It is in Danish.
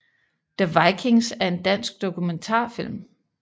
The Vikings er en dansk dokumentarfilm